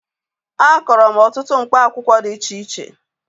Akọrọ m ọtụtụ mkpa akwụkwọ dị iche iche